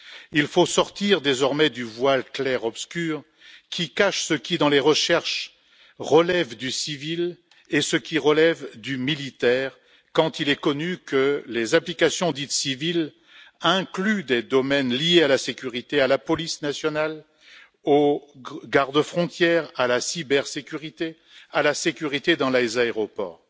Il faut sortir désormais du voile clair obscur qui cache ce qui, dans les recherches, relève du civil et ce qui relève du militaire, quand il est connu que les applications dites civiles incluent des domaines liés à la sécurité, à la police nationale, aux gardes frontières, à la cybersécurité ou à la sécurité dans les aéroports.